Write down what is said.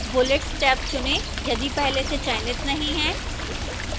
bullets tab चुनें यदि पहले से चयनित नहीं है